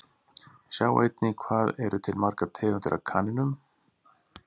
Sjá einnig Hvað eru til margar tegundir af kanínum?